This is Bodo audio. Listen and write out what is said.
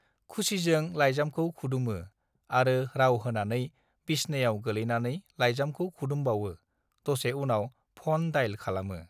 खुसिजों लाइजामखौ खुदुमो आरो राव होनानै बिसनायाव गोलैनानै लाइजामखौ खुदमबावो दसे उनाव फन डायेल खालामो